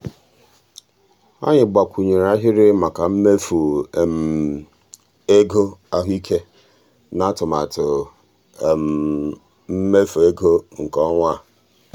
anyị gbakwunyere ahịrị maka mmefu um ego ahụike n'atụmatụ um mmefu ego nke ọnwa a. um